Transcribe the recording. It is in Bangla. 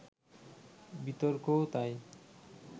বিতর্কও তাই